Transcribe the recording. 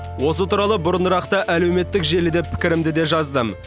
осы туралы бұрынырақта әлеуметтік желіде пікірімді де жаздым